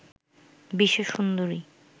বিশ্ব সুন্দরী